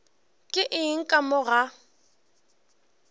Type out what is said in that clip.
ke eng ka mo ga